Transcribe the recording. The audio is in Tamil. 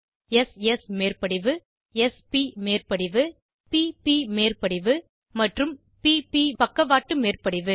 s ஸ் மேற்படிவு s ப் மேற்படிவு p ப் மேற்படிவு மற்றும் p ப் பக்கவாட்டு மேற்படிவு